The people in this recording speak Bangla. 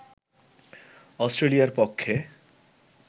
অস্ট্রেলিয়ার পক্ষে